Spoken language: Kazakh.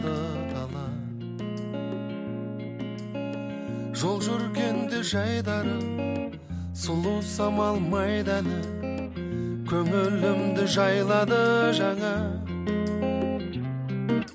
жол жүргенде жайдары сұлу самал майданы көңілімді жайлады жаңа